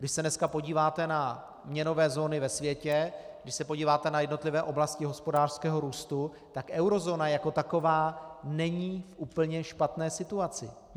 Když se dneska podíváte na měnové zóny ve světě, když se podíváte na jednotlivé oblasti hospodářského růstu, tak eurozóna jako taková není v úplně špatné situaci.